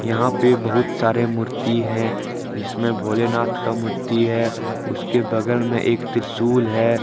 यहां पे बहुत सारे मूर्ति है इसमें भोलेनाथ का मूर्ति है उसके बगल में एक त्रिशूल है।